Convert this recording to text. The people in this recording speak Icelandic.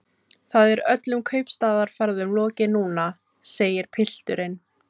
Það er öllum kaupstaðarferðum lokið núna, segir pilturinn.